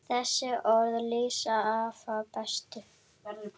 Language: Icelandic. Þessi orð lýsa afa best.